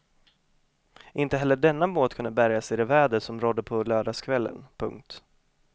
Inte heller denna båt kunde bärgas i det väder som rådde på lördagskvällen. punkt